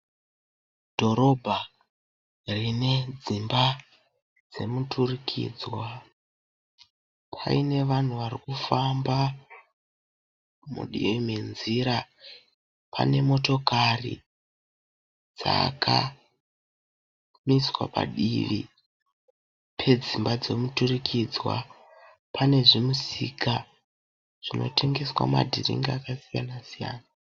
Dhorobha rine dzimba dzemuturikidzwa. Pane vanhu varikufamba mudivi menzira. Pane motokari dzakaiswa padivi pedzimba dzomuturikidzwa. Pane zvimisika zvinotengeswa madhiringi akasiyana siyana.